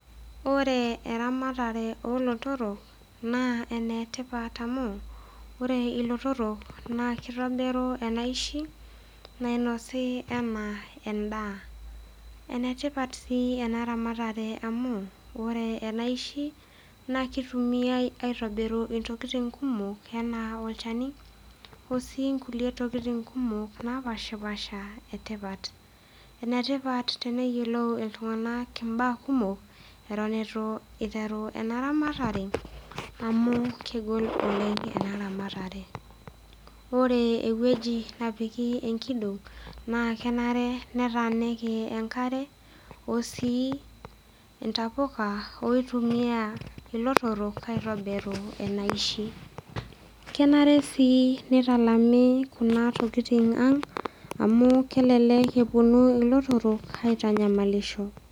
Ore eramatare oo lotorok naa ene tipat amu ore ilotorok naa kitobiru enaishi nainosi enaa endaa. Ene tipat sii ena ramatare amu ore eniashi naake itumiai aitobiru intokitin kumok enaa olchani, oo sii nkuliek tokitin kumok napaashipaasha e tipat. Ene tipat teneyiolou iltung'anak imbaa kumok eton itu iteru ena ramatare amu kegol oleng' ena ramatare. Ore ewueji napiki enkidong' naa kenare netaaniki enkare oo sii intapuka piitumia ilotorok aitobiru enaishi. Kenare sii nitalami kuna tokitin aang' amu kelelek eponu ilotorok aitanyamalisho.